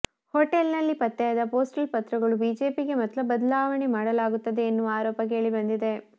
hotel ನಲ್ಲಿ ಪತ್ತೆಯಾದ postal ಪತ್ರಗಳು ಬಿಜೆಪಿಗೆ ಮತ ಬದಲಾವಣೆ ಮಾಡಲಾಗುತ್ತದೆ ಎನ್ನುವ ಆರೋಪ ಕೇಳಿ ಬಂದಿದೆ